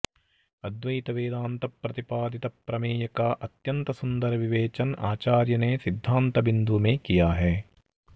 अद्वैत वेदान्त प्रतिपादित प्रमेय का अत्यन्त सुन्दर विवेचन आचार्य ने सिद्धान्तबिन्दु में किया है